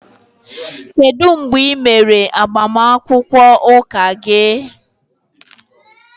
Kedu mgbe ị mere agbamakwụkwọ Ụka gị